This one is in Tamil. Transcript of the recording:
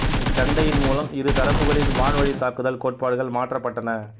இச்சண்டையின் மூலம் இரு தரப்புகளின் வான் வழித்தாக்குதல் கோட்பாடுகள் மாற்றப்பட்டன